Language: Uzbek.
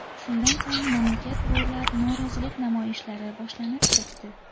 Shundan so‘ng mamlakat bo‘ylab norozilik namoyishlari boshlanib ketdi.